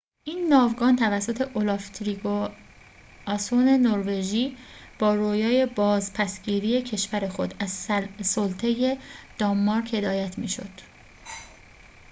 این ناوگان توسط اولاف تریگواسون نروژی با رویای بازپس گیری کشور خود از سلطه دانمارک هدایت می شد